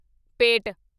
ਪੇਟ